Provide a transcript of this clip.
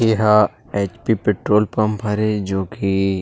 इहा H P petrol pump हरे जो कि--